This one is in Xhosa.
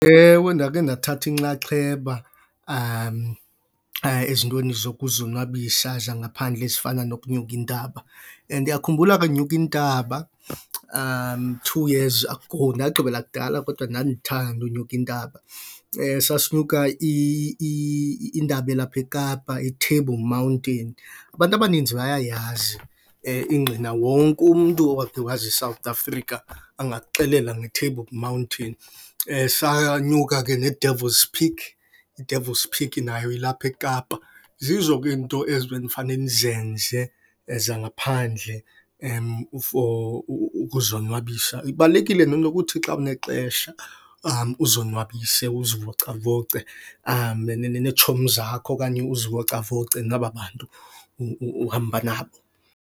Ewe, ndakhe ndathatha inxaxheba ezintweni zokuzonwabisa zangaphandle ezifana nokunyuka intaba. Ndiyakhumbula xa ndinyuka intaba two years ago, ndagqibela kudala kodwa ndandithanda unyuka intaba. Sasinyuka intaba elapha eKapa, iTable Mountain. Abantu abaninzi bayayazi ingqina wonke umntu owakhe waze eSouth Africa angakuxelela ngeTable Mountain. Sanyuka ke neDevils Peak, iDevils Peak nayo ilapha eKapa. Zizo ke iinto ezi benifane nizenze zangaphandle for ukuzonwabisa. Ibalulekile nento yokuthi xa unexesha uzonwabise, uzivocavoce neetshomi zakho okanye uzivocavoce naba bantu uhamba nabo.